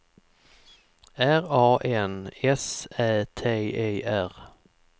R A N S Ä T E R